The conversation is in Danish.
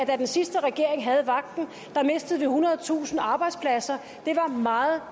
da den sidste regering havde vagten mistede vi ethundredetusind arbejdspladser det var meget